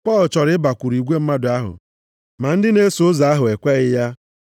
Pọl chọrọ ịbakwuru igwe mmadụ ahụ, ma ndị na-eso ụzọ ahụ ekweghị ya.